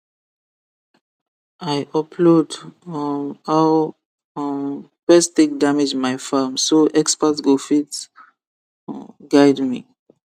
i upload um how um pest take damage my farm so expert go fit um guide me